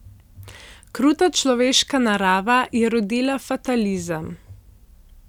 Kruta človeška narava je rodila fatalizem.